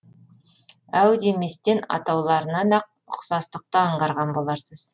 әу деместен атауларынан ақ ұқсастықты аңғарған боларсыз